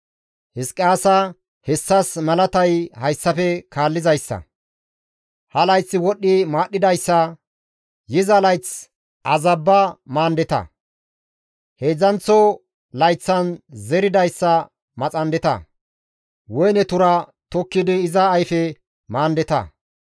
«Hizqiyaasa! Hessas malatay hayssafe kaallizayssa; « ‹Ha layth wodhdhi maadhdhidayssa; yiza layth azabba maandeta; heedzdzanththa layththan zeridayssa maxandeta; woyne tura tokkidi iza ayfe maandeta.